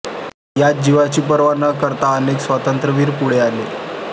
यात जीवाची पर्वा न करता अनेक स्वातंत्र्यवीर पुढे आले